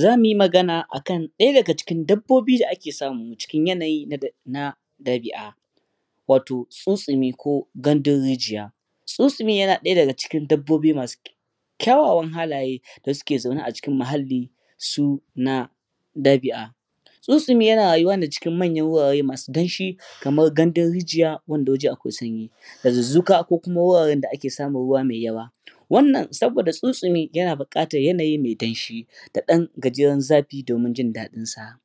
zamu yi magana akan daya daga cikin dabbobi da ake samu cikin yanayi na dabi'a wato tsutsumi ko gandun rijiya tsutsumi yana daya daga cikin dabbobi masu kyawawa halaye dasu ke zaune acikin muhalli su na dabi'a tsutsumi yana rayuwa cikin manyan wurare masu damshi kamar gandun rijiya wanda waje akwai sanyi dazuzzuka ko wajen da akwai ruwa masu yawa wannan saboda tsutsumi yana bukatar waje mai damshi da dan gajeren zafi domin jin dadin sa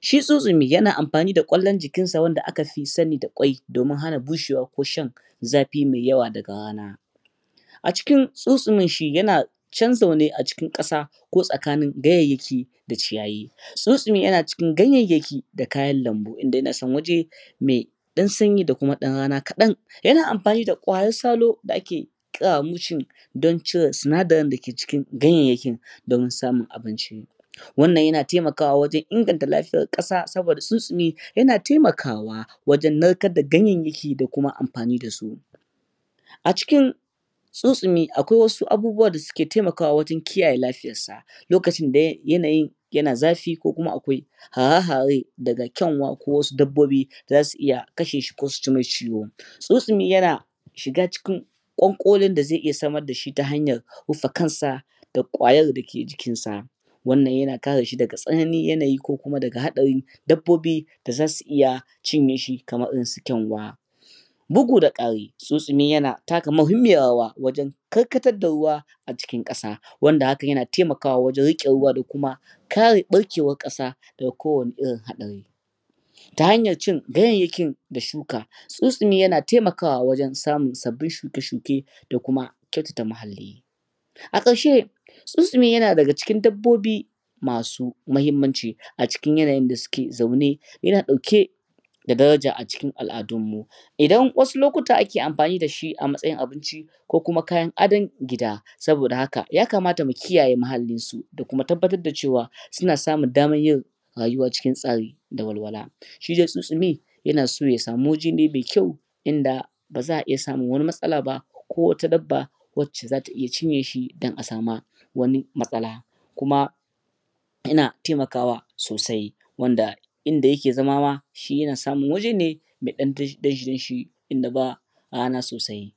shi tsutsumi yana amfani da kallon jikin sa da aka fi sani da qwai domin hana bushewa ko shan zafi mai yawa daga rana acikin tsutsumin shi yana chanza wani acikin kasa ko tsakanin gayyanyaki da ciyayi tsutsumi yana cikin gayyayaki da kayan lambu inda yana son waje me dan sanyi da kuma rana kadan yana anfani da kwayar salo da'ake kira mushrum don cire sinadarin da ke cikin ganyayyaki domin samun abinci wannan yana temakawa wajen inganta lafiyar kasa saboda tsutsumi yana temaka wa wajen narkar da ganyayyaki da kuma anfani dasu acikin tsutsumi akwai abubuwa da ke temaka wa wajen kiyaye lafiyarsa lokacin da yanayin yana zafi ko kuma akwai hare-hare daga kyanwa ko wasu dabbobi zasu iya kasheshi ko su jimasa ciwo tsutsumi yana shiga cikin konkolin dazai iya samar da shi ta hanyar rufa kansa da kwayar da ke jikin sa wannan yana kareshi daga tsananin yanayi ko kuma hadari dabbobi da zasu iya cinye shi kamar irin su kyanwa bugu da kari tsutsumi yana taka muhimmiyar rawa wajen karkatar da ruwa acikin kasa wanda hakan yana temaka wa wajen rike da kuma kare barke war kasa da ga kowani irin hadari ta hanyar cin ganyayyakin da shuka tsutsumi yana temaka wajen samun sabbin shuke shuke da kuma kyautata muhalli a karshe tsutsumi yana daga cikin dabbobi samu muhimmanci acikin yana yin da su ke zaune yana dauke da daraja acikin al'adunmu idan wasu lotuka ake anfani da shi a matsayin abinci ko kuma kayan adon gida saboda haka yaka mata mu kiyaye muhallinsu da kuma tabbatar da cewa suna samun damar yin rayuwa cikin tsari da walwala shide tsutsumi yana so yasamu waje ne mai kyau inda baza a iya samun wani matsala ba ko wata dabba wace zata iya cinyeshi dan asama wani matsala kuma yana temaka wa sosai wanda inda yake zama ma shi yana samun wajene mai dan damshi damshi inda ba rana sosai